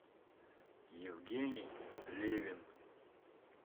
евгений левин